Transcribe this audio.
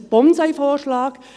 Es ist ein Bonsai-Vorschlag.